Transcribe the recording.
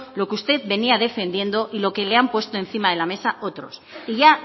lo que usted venía defendiendo y lo que le han puesto encima de la mesa otros y ya